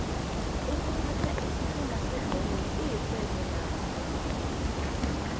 iykuphatha isiqhema sebholo kuyixhwebo nakho